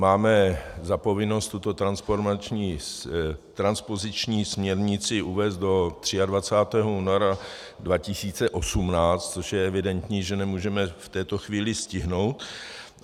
Máme za povinnost tuto transpoziční směrnici uvést do 23. února 2018, což je evidentní, že nemůžeme v této chvíli stihnout.